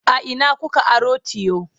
a Ina kuka aro tiyo?